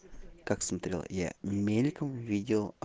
как смотрел я мельком видел а